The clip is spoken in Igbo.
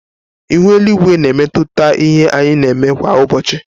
Ihu eluigwe na emetụta ihe anyị na-eme kwa ụbọchị.